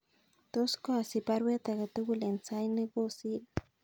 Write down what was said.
Tos koasich baruet agetugul en sait ne kosir